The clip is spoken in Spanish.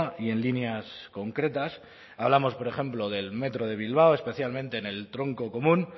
y en líneas concretas hablamos por ejemplo del metro de bilbao especialmente en el tronco común